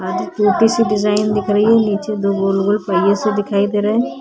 आधी टूटी सी डिजाईन दिख रही है नीचे दो गोल-गोल पईये से दिखाई दे रहे है।